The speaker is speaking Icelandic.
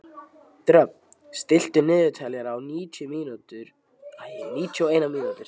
Dröfn, stilltu niðurteljara á níutíu og eina mínútur.